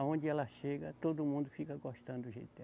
Aonde ela chega, todo mundo fica gostando do jeito dela.